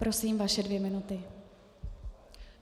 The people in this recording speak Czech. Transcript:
Prosím, vaše dvě minuty.